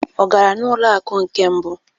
Ọ gara n'ụlọ akụ nke mbụ?